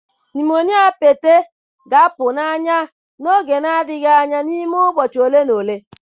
Nụmonịa Pete ga-apụ n'anya n'oge na-adịghị anya n'ime ụbọchị ole na ole